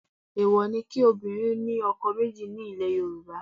Èèwọ̀ ni kí obìnrin ní ọkọ méjì ní ilẹ̀ Yorùbá